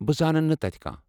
بہٕ زانن نہٕ تتہِ كانٛہہ۔